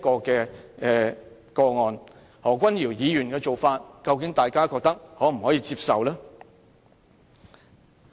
大家覺得何君堯議員的表現是否可以接受呢？